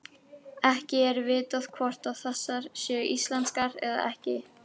Ekki er vitað hvort þessar séu íslenskar eða ekki.